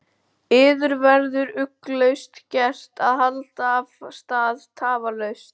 Yður verður ugglaust gert að halda af stað tafarlaust.